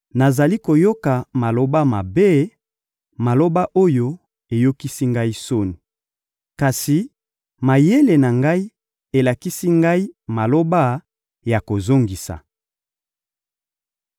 Nazali koyoka maloba mabe, maloba oyo eyokisi ngai soni! Kasi mayele na ngai elakisi ngai maloba ya kozongisa.